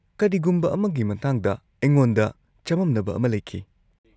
-ꯀꯔꯤꯒꯨꯝꯕ ꯑꯃꯒꯤ ꯃꯇꯥꯡꯗ ꯑꯩꯉꯣꯟꯗ ꯆꯃꯝꯅꯕ ꯑꯃ ꯂꯩꯈꯤ ꯫